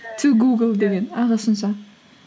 ту гугл деген ағылшынша